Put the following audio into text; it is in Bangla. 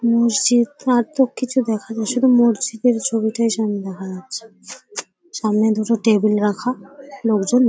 মসজিদ আর তো কিছু দেখা যাচ্ছে না । শুধু মসজিদের ছবিটাই সামনে দেখা যাচ্ছে । সামনে দুটো টেবিল রাখালোকজন --